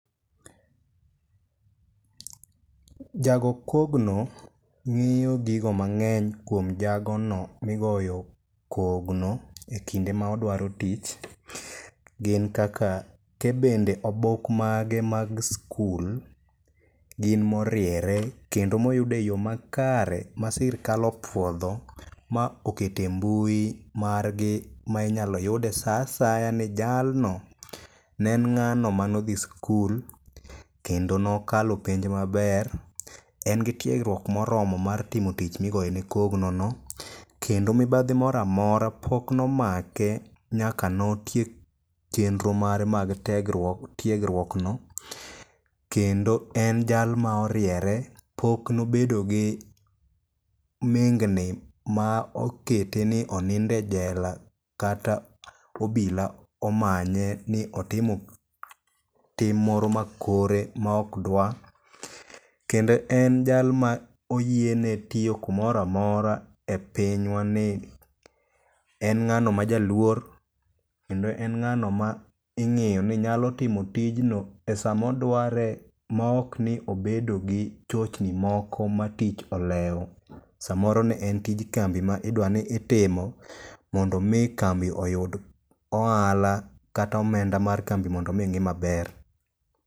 Jago kogno ng'iyo gigo mang'eny kuom jagono migoyo kogno e kinde ma odwaro tich, gin kaka ke bende obok mage mag skul gin moriere kendo moyud e yo makare ma sirkal opuodho ma okete mbui margi ma inyalo yude sa asaya ni jalno ne en ng'ano manodhi skul kendo nokalo penj maber en gi tiegruok moromo mar timo tich migoyene kogno no, kendo mibadhi moro amora pok nomake nyaka notiek chenro mare mag tiegruokno, kendo en jal ma oriewre pok nobedo gi mingni ma okete ni oninde jela kata obila omanye ni otimo tim moro ma kore maok dwa, kendo en jal ma oyiene tiyo kumoro amora e pinywani, en ng'ano ma jaluoer kendo ng'ano ma ing'iyo ni nyalo timo tijno e samodware maokni obedo gi chochni moko ma tich olewo samoro ne en tij kambi ma idwa ni itimo mondo omi kambi oyud ohala kata omenda mar kambi mondo omi ng'i maber.